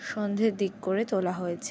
সন্ধের দিক করে তোলা হয়েছে।